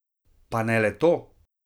Pa ne le to!